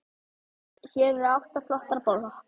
Hér eru átta flottar blokkir.